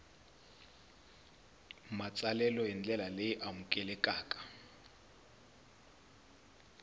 matsalelo hi ndlela leyi amukelekaka